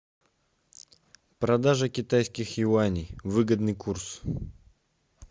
продажа китайских юаней выгодный курс